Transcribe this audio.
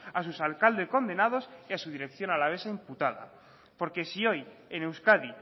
a sus alcaldes condenados y a su dirección alavesa imputada porque si hoy en euskadi